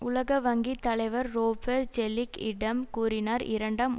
உலக வங்கி தலைவர் ரோபர் ஜெல்லிக் இடம் கூறினார் இரண்டாம்